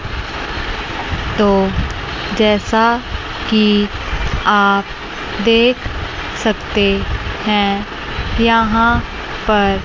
तो जैसा कि आप देख सकते हैं यहां पर--